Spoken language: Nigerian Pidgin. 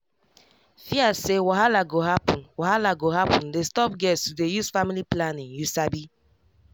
fear say wahala go happen wahala go happen dey stop girls to dey use family planning you sabi